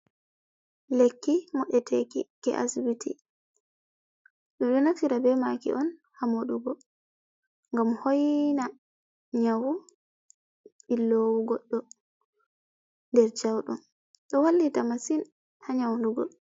Lekki modeteki ke asibiti beɗo nafitira be maki on ha modugo. gam hoina nyawu billowu goɗɗo nder jaudom ɗo wallita masin ha nyaudugo.